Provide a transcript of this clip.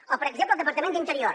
o per exemple el departament d’interior